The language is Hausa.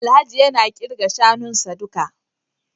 Alhaji yana kirga shanunsa duka